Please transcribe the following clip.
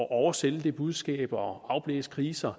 at oversælge det budskab og afblæse krisen